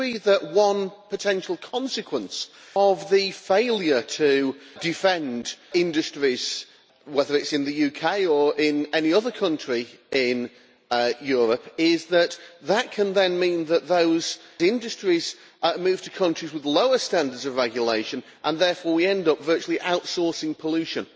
Do you agree that one potential consequence of the failure to defend industries, whether it is in the UK or in any other country in Europe, is that that can then mean that those industries are moved to countries with lower standards of regulation and therefore we end up virtually outsourcing pollution?